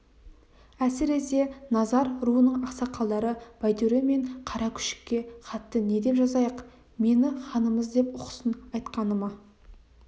әсіресе назар руының ақсақалдары байтөре мен қаракүшікке хатты не деп жазайық мені ханымыз деп ұқсын айтқаныма